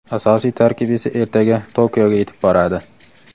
Asosiy tarkib esa ertaga Tokioga yetib boradi.